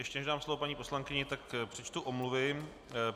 Ještě než dám slovo paní poslankyni, tak přečtu omluvy.